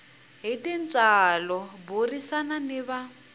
hi tintswalo burisana ni va